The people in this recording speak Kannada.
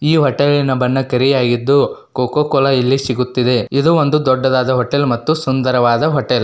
ಈ ಹೋಟೆಲಿನ ಬಣ್ಣ ಕರಿಯಾಗಿದ್ದು ಕೋಕಾ ಕೋಲಾ ಇಲ್ಲಿ ಸಿಗುತ್ತಿದೆ ಇದು ಒಂದು ದೊಡ್ಡದಾದ ಹೋಟೆಲ್ ಮತ್ತು ಸುಂದರವಾದ ಹೋಟೆಲ್